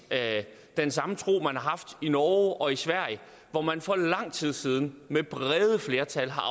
den samme tro man har haft i norge og i sverige hvor man for lang tid siden med brede flertal har